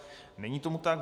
Není tomu tak.